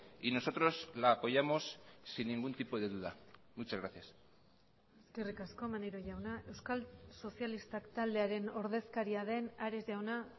y nosotros la apoyamos sin ningún tipo de duda muchas gracias eskerrik asko maneiro jauna euskal sozialistak taldearen ordezkaria den ares jauna